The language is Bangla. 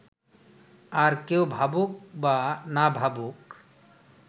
আর কেউ ভাবুক বা না ভাবুক